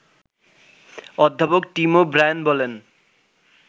অধ্যাপক Tim O'Brien বলেন